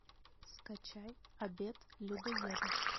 скачай обед людоеда